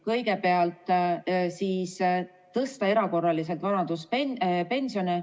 Kõigepealt plaanime tõsta erakorraliselt vanaduspensione.